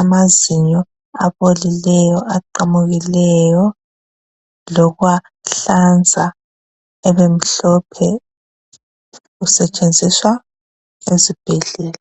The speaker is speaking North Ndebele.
amazinyo abolileyo, aqamukileyo lokuwahlanza ebemhlophe usetshenziswa ezibhedlela.